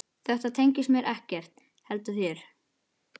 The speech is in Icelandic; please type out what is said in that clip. Þetta tengist mér ekkert heldur þér.